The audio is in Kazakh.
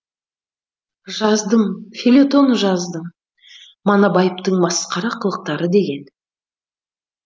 жаздым фельетон жаздым манабаевтың масқара қылықтары деген